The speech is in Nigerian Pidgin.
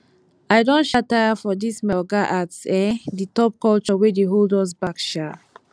i don um tire for dis my oga at um the top culture wey dey hold us back um